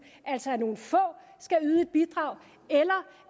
altså nogle få skal yde et bidrag eller